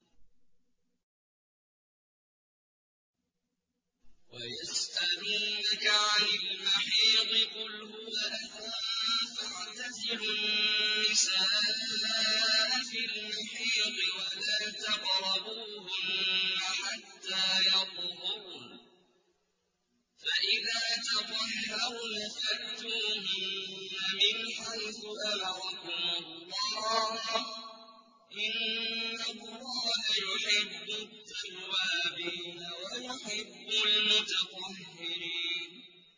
وَيَسْأَلُونَكَ عَنِ الْمَحِيضِ ۖ قُلْ هُوَ أَذًى فَاعْتَزِلُوا النِّسَاءَ فِي الْمَحِيضِ ۖ وَلَا تَقْرَبُوهُنَّ حَتَّىٰ يَطْهُرْنَ ۖ فَإِذَا تَطَهَّرْنَ فَأْتُوهُنَّ مِنْ حَيْثُ أَمَرَكُمُ اللَّهُ ۚ إِنَّ اللَّهَ يُحِبُّ التَّوَّابِينَ وَيُحِبُّ الْمُتَطَهِّرِينَ